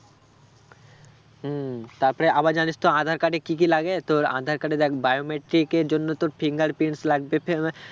হম তারপরে আবার জানিস তো আঁধার card এ কি কি লাগে? তোর আঁধার card card এ biometric এর জন্য তোর fingerprints লাগবে